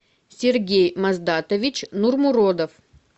сергей маздатович нурмуродов